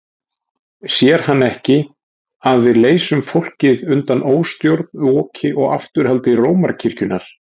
Sér hann ekki að við leysum fólkið undan óstjórn, oki og afturhaldi Rómarkirkjunnar?